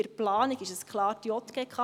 Bei der Planung ist es klar die JGK.